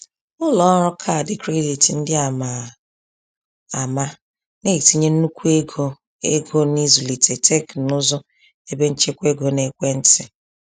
Ụlọọrụ kaadị kredit ndị a ma ama na-etinye nnukwu ego ego n’ịzụlite teknụzụ ebenchekwaego n’ekwentị.